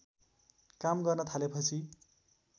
काम गर्न थालेपछि